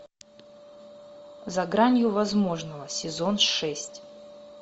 за гранью возможного сезон шесть